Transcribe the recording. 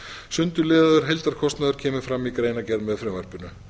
sundurliðaður heildarkostnaður kemur fram í greinargerð með frumvarpinu